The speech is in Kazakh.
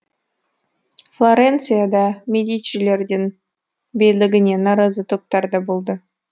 флоренцияда медичилердің билігіне наразы топтар да болды